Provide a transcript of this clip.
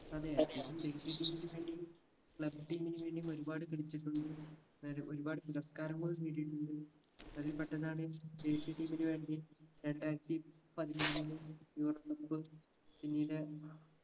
അതെ അദ്ദേഹം ദേശീയ team ന് വേണ്ടിയും club team ന് വേണ്ടിയും ഒരുപാട് കളിച്ചിട്ടുണ്ട് വേറെ ഒരുപാട് പുരസ്‌കാരങ്ങൾ നേടിയിട്ടുണ്ട് അതിൽ പെട്ടതാണ് ദേശീയ team ന് വേണ്ടി രണ്ടായിരത്തി പതിനേഴിലെ cup പിന്നീട്